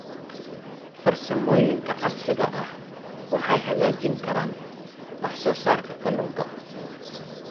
Farsamooyinka casriga ahi waxay hagaajin karaan wax soo saarka kalluunka.